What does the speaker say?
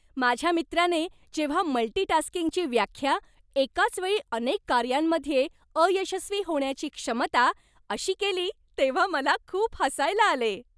माझ्या मित्राने जेव्हा मल्टी टास्किंगची व्याख्या, एकाच वेळी अनेक कार्यांमध्ये अयशस्वी होण्याची क्षमता, अशी केली तेव्हा मला खूप हसायला आले.